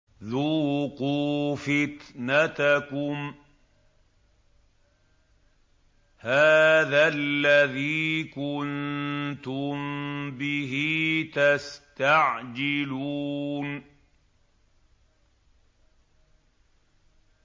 ذُوقُوا فِتْنَتَكُمْ هَٰذَا الَّذِي كُنتُم بِهِ تَسْتَعْجِلُونَ